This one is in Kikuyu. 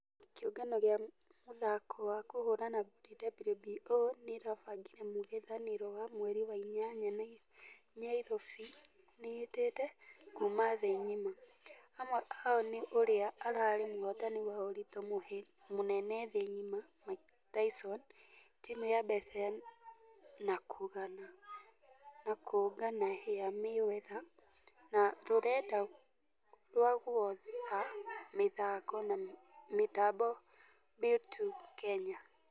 kĩũngano gĩa mũthako wa kũhũrana ngundi WBO nĩĩrabangire mũngethanĩro wa mweri wa inyanya nyairobi nĩĩtete ....kuuma thĩ ngima . Amwe ao nĩ ũrĩa ararĩ mũhotani wa ũritũ mũnene thĩ ngima mike tyson, timũ ya mbeca na kũgana ya mayweather na rũrenda rwa gũotha mĩthako na mĩtambo bew2 kenya.